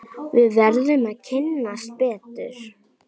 Við verðum að kynnast betur.